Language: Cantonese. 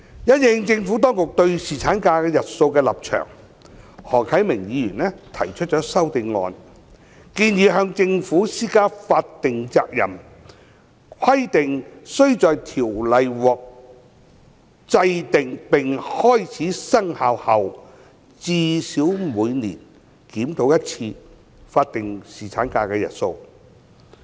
因應政府當局對侍產假日數的立場，何啟明議員提出修正案，建議向政府施加法定責任，規定須在條例獲制定並開始生效後，最少每年檢討一次法定侍產假日數。